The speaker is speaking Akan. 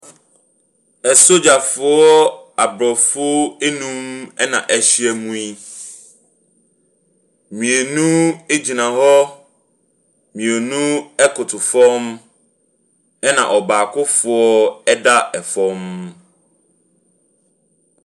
Asogyafoɔ Abrɔfo nun na ahyiam yi. Mmienu gyina hɔ. Mmienu ɛkoto fam. Ɛna ɔbaakofoɔ ɛda ɛfam.